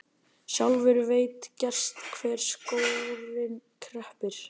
Sjálfur veit gerst hvar skórinn kreppir.